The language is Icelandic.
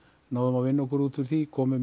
náðum að vinna okkur út úr því komu